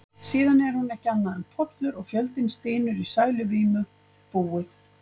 Síðan er hún ekki annað en pollur, og fjöldinn stynur í sæluvímu: búið.